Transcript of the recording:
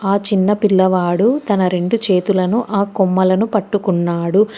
ఆ చిన్న పిల్లవాడు తన రెండు చేతులను ఆ కొమ్మలను పట్టుకున్నాడు.